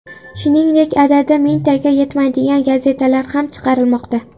Shuningdek, adadi mingtaga yetmaydigan gazetalar ham chiqarilmoqda.